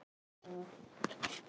Hvað kæmi næst?